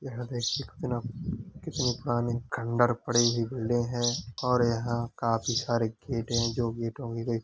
यहाँ पे कितना कितनी पुरानी खंडर पड़ी हुई बिल्डिंग है और यहाँ काफ़ी सारे गेट हैं जो भी ईटों के दे --